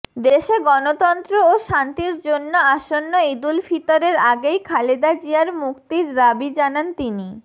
দেশে গণতন্ত্র ও শান্তির জন্য আসন্ন ঈদুল ফিতরের আগেই খালেদা জিয়ার মুক্তির দাবি জানান তিনি